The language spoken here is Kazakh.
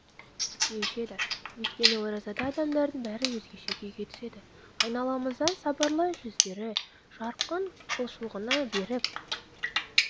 деуші еді өйткені оразада адамдардың бәрі өзгеше күйге түседі айналамыздан сабырлы жүздері жарқын құлшылығына берік